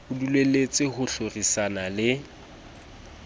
o dulelletse ho hlorisana le